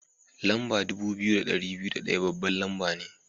Lamba dubu biyu da ɗari biyu da ɗaya babban lamba ne.